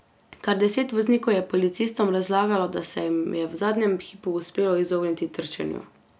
Kar deset voznikov je policistom razlagalo, da se jim je v zadnjem hipu uspelo izogniti trčenju.